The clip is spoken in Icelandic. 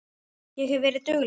Ég hef verið dugleg.